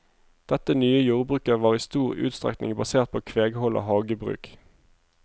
Dette nye jordbruket var i stor utstrekning basert på kveghold og hagebruk.